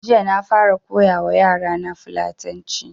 Jiya na fara koya wa yara na fulatanci